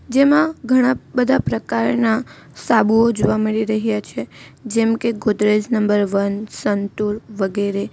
જેમાં ઘણા બધા પ્રકારના સાબુઓ જોવા મળી રહ્યા છે જેમકે ગોદરેજ નંબર વન સંતુર વગેરે.